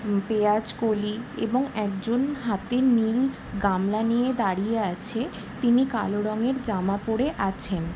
উম পেঁয়াজকলি এবং একজন হাতে নীল গামলা নিয়ে দাঁড়িয়ে আছে তিনি কালো রঙের জামা পড়ে আছেন ।